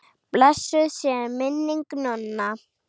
Blessuð sé minning Nonna.